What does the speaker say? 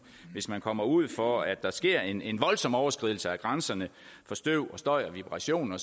hvis man kommer ud for at der sker en en voldsom overskridelse af grænserne for støv støj og vibrationer